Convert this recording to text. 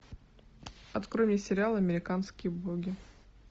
открой мне сериал американские боги